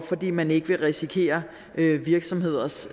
fordi man ikke vil risikere virksomheders